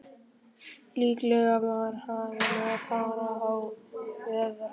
Líklega var afinn að fara á veiðar.